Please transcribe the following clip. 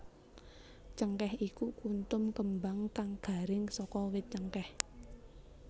Cengkèh iku kuntum kembang kang garing saka wit cengkèh